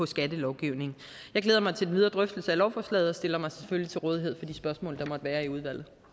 skattelovgivningen jeg glæder mig til den videre drøftelse af lovforslaget og stiller mig selvfølgelig til rådighed for de spørgsmål der måtte være i udvalget